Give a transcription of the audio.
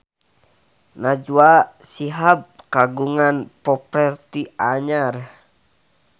Najwa Shihab kagungan properti anyar